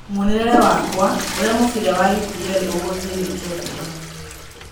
Muonere wakwa: ũrĩa mũbira wa EPL ũgũthiĩ wikendi ĩno